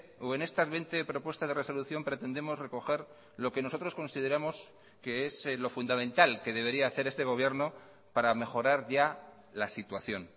o en estas veinte propuestas de resolución pretendemos recoger lo que nosotros consideramos que es lo fundamental que debería hacer este gobierno para mejorar ya la situación